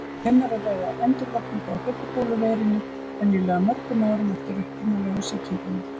Um er að ræða endurvakningu á hlaupabóluveirunni, venjulega mörgum árum eftir upprunalegu sýkinguna.